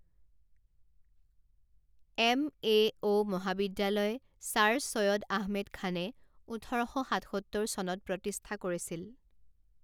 M A O মহাবিদ্যালয় sir Syed Ahmed খানে ওঠৰ শ সাতসত্তৰ চনত প্ৰতিষ্ঠা কৰিছিল।